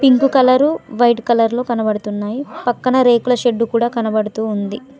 ఇంక colour white colour లో కనబడుతున్నాయి పక్కన రేకుల షెడ్డు కూడా కనబడుతూ ఉంది.